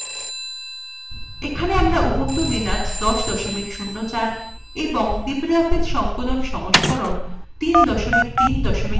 এখানে আমরা Ubuntu Linux ১০ ০৪ এবং libreoffice সংকলন সংস্করণ ৩ ৩ ৪ ব্যবহার করছি